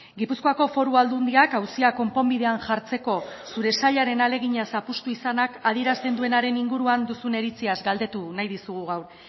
gipuzkoako foru aldundiak auzia konponbidean jartzeko zure sailaren ahalegina zapuztu izanak adierazten duenaren inguruan duzun iritziaz galdetu nahi dizugu gaur